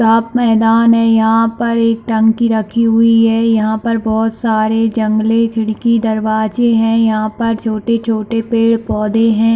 साफ मैदान है यहाँ पर एक टंकी रखी हुई है यहाँ पर बहोत सारे जंगले खिड़की दरवाजे है यहाँ पर छोटे-छोटे पेड़-पौधे है।